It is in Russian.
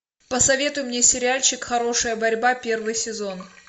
посоветуй мне сериальчик хорошая борьба первый сезон